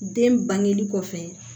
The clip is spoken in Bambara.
Den bangeli kɔfɛ